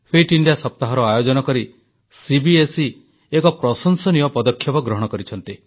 fit India ସପ୍ତାହର ଆୟୋଜନ କରି ସିବିଏସଇ ଏକ ପ୍ରଶଂସନୀୟ ପଦକ୍ଷେପ ଗ୍ରହଣ କରିଛନ୍ତି